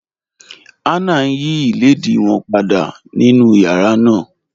Hannah ń yí ilẹ̀dìí wọn pàdà nínu yàrá náà.